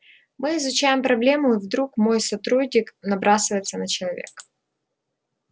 мы изучаем проблему и вдруг мой сотрудник набрасывается на человека